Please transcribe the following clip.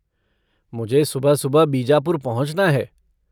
मुझे सुबह सुबह बीजापुर पहुँचना है।